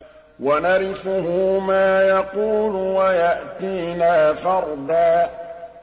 وَنَرِثُهُ مَا يَقُولُ وَيَأْتِينَا فَرْدًا